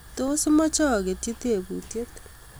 tos imache agetchi tebutyet